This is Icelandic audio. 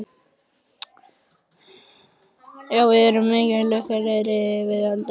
Við erum miklu lukkulegri en við höldum.